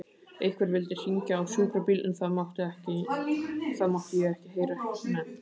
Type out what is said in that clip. Einhver vildi hringja á sjúkrabíl en það mátti ég ekki heyra nefnt.